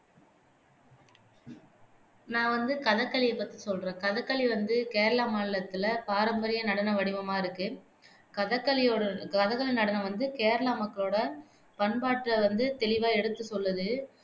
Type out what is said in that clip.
நான் வந்து கதகளியை பத்தி சொல்றேன் கதகளி வந்து கேரளா மாநிலத்துல பாரம்பரிய நடன வடிவமா இருக்கு கதகளி வந்து கேரளா மக்களோட பண்பாட்ட வந்து தெளிவா எடுத்து சொல்லுது